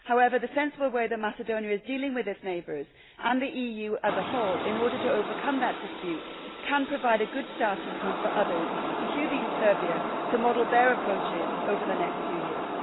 However, the sensible way that Macedonia is dealing with its neighbours, and the EU as a whole, in order to overcome that dispute, can provide a good starting point on which others, including Serbia, could model their approaches over the next few years.